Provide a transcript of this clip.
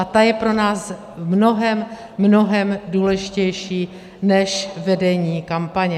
A ta je pro nás mnohem, mnohem důležitější než vedení kampaně.